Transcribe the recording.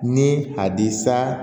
Ni a di sa